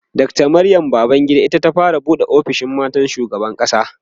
Dr Maryam Babangida ita ta fara buɗe ofishin matan shugaban ƙasa